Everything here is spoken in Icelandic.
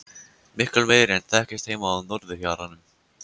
Miklu meiri en þekktist heima á norðurhjaranum.